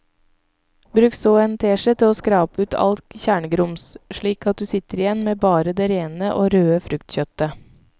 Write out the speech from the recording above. Bruk så en teskje til å skrape ut alt kjernegrums slik at du sitter igjen med bare det rene og røde fruktkjøttet.